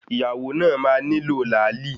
Ìyàwó náà máa nílò làálì.